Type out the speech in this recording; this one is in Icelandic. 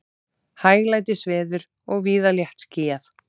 Hæglætisveður og víða léttskýjað